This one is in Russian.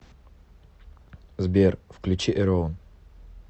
сбер включи э рон